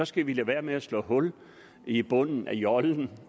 skal vi lade være med at slå hul i bunden af jollen